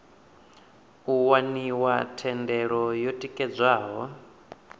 u waniwa thendelo yo tikedzwaho